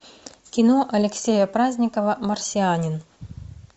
кино алексея праздникова марсианин